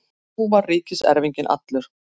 Nú var ríkiserfinginn allur.